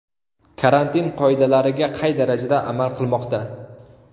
Karantin qoidalariga qay darajada amal qilinmoqda?.